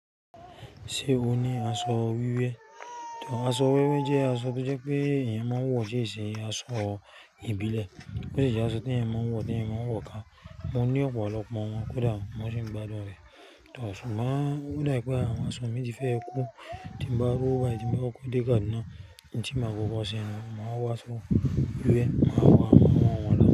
Ṣé o ní aṣọ wíwé? Aṣọ wíwé jẹ́ aṣọ tó jẹ́ pé èèyàn máa ń wọ̀ síṣẹ́, aṣọ ìbílẹ̀. Ó si jẹ́ aṣọ tí èèyàn máa ń wọ̀, tí èèyàn máa ń wọ̀o ká. Mo ní ọ̀pọ̀lọpọ̀ wọn, kódà mo sì ń gbádùn rẹ̀. Toh sugbon o dabi pe àwọn aṣọ mi ti fẹ́ kú, tí n bá rowo bayii, ti n ba kóko de kaduna, n tí má kóko sé nìyen, màá wa aso. Wíwé, màá wọ àwọn wọn náà.